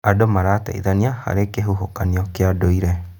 Andũ marateithania harĩ kĩhuhũkanio kĩa ndũire.